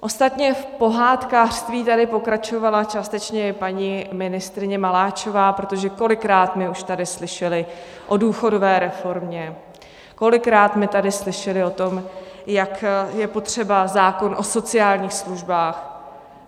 Ostatně v pohádkářství tady pokračovala částečně i paní ministryně Maláčová, protože kolikrát my už tady slyšeli o důchodové reformě, kolikrát my tady slyšeli o tom, jak je potřeba zákon o sociálních službách.